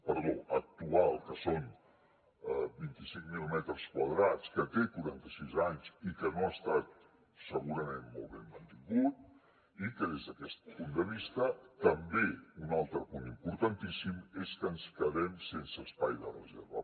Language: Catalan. perdó actual que són vint cinc mil metres quadrats que té quaranta sis anys i que no ha estat segurament molt ben mantingut i que des d’aquest punt de vista també un altre punt importantíssim és que ens quedem sense espai de reserva